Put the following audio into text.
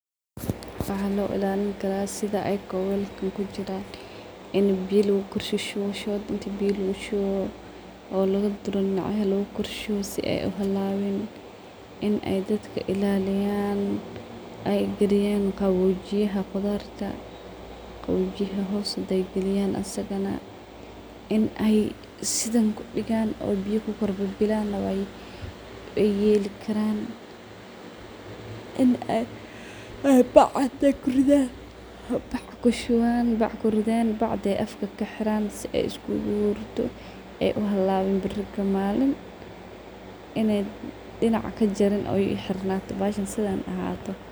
Waxa loo ilaalin kara sidha ayako weelkan kujiraan in biyo lagu koorshushuwo shood in biyo lagushuwo oo lagududuro dinac yaha logo koorshuwo sidhay ay u halawiin in ay daadka ilaliyaan ay galiyan gawojiyaha qudharta, gawojiyah hoos haday galiyaan isaga na in aay sidhan kudigaan ku kor babilaan ay yeeli karaan in ay baac intay kuridhan, baac kushuwaan baac kuridhan baacda afka ay kaxiraan si ay iskuga hurto ay uhalawiin biiri kamalin inay dinaac kajariin oo ay xirnato baacda sidhaan ahaato.